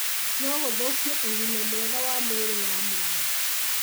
no gũthũkie ũgima mwega wa mwĩrĩ wa mwana.